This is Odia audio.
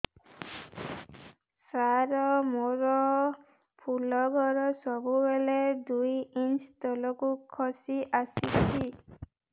ସାର ମୋର ଫୁଲ ଘର ସବୁ ବେଳେ ଦୁଇ ଇଞ୍ଚ ତଳକୁ ଖସି ଆସିଛି